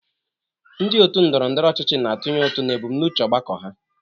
Ndị otu ndọrọ ndọrọ ọchịchị na-atụnye ụtụ na ebumnuche ọgbakọ ha.